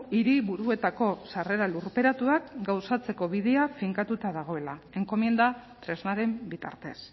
hiriburuetako sarrera lurperatuak gauzatzeko bidea finkatuta dagoela enkomienda tresnaren bitartez